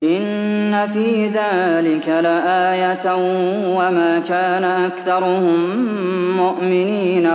إِنَّ فِي ذَٰلِكَ لَآيَةً ۖ وَمَا كَانَ أَكْثَرُهُم مُّؤْمِنِينَ